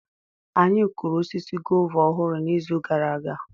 Anyị kụrụ osisi guava ọhụrụ n'izu gara aga.